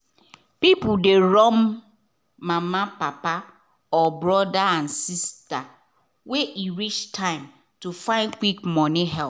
people dey run go mama papa or brother and sister when e reach time to find quick money help.